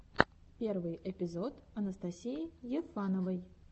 первый эпизод анастасии ефановой